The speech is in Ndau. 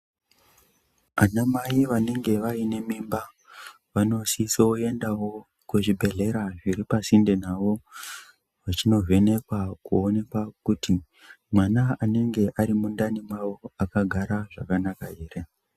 Anamai vanenge vane mimba vanosisoendawo kuzvibhedhlera zviri pasinde nawo vachinovhenekwa kuonekwa kuti mwana anenge ari mundani mwawo akagara zvakanaka here .